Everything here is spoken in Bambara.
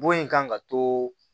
Bon in kan ka to